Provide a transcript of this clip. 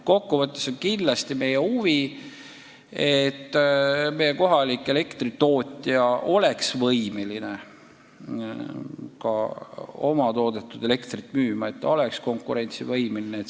Kokku võttes on meie huvi, et meie kohalik elektritootja oleks võimeline oma toodetud elektrit müüma, et ta oleks konkurentsivõimeline.